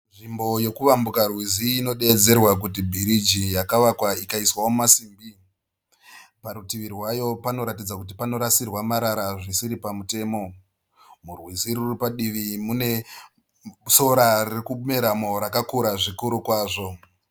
Nzvimbo yekuvambuka rwizi inodeedzerwa kuti bhiriji yakavakwa ikaiswawo masimbi. Parutuvi rwayo panoratidza kuti panorasirwa marara zvisiri pamutemo. Murwizi ruri padivi mune sora ririkumeramo rakakura zvikuru kwazvo.